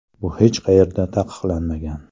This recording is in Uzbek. Bu hech qayerda taqiqlanmagan.